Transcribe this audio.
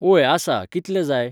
ओय आसा कितले जाय